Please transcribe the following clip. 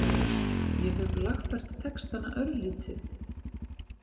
Ég hef lagfært textana örlítið.